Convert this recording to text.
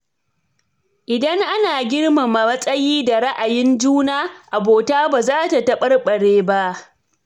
Idan ana girmama matsayi da ra’ayin juna, abota ba za ta taɓarɓare ba.